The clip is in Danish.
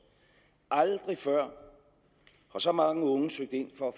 aldrig før har så mange unge søgt ind for